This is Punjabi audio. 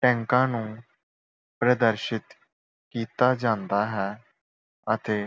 ਟੈਕਾਂ ਨੂੰ ਪ੍ਰਦਰਸ਼ਿਤ ਕੀਤਾ ਜਾਂਦਾ ਹੈ। ਅਤੇ